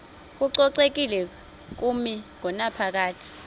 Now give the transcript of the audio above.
kococekile kumi ngonaphakade